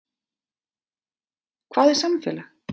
Hvað er samfélag?